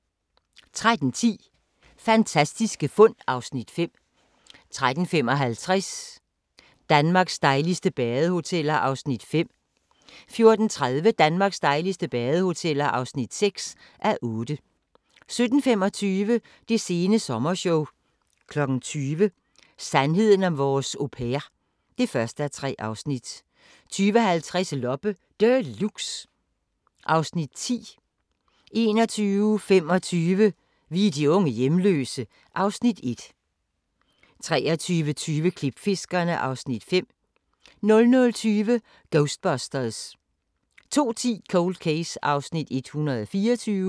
13:10: Fantastiske fund (Afs. 5) 13:55: Danmarks dejligste badehoteller (5:8) 14:30: Danmarks dejligste badehoteller (6:8) 17:25: Det sene sommershow 20:00: Sandheden om vores au pair (1:3) 20:50: Loppe Deluxe (Afs. 10) 21:25: Vi er de unge hjemløse (Afs. 1) 23:20: Klipfiskerne (Afs. 5) 00:20: Ghostbusters 02:10: Cold Case (124:156)